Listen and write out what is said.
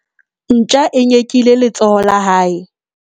ntja e nyekile letsoho la hae